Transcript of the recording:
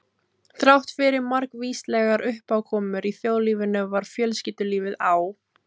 Þráttfyrir margvíslegar uppákomur í þjóðlífinu var fjölskyldulífið á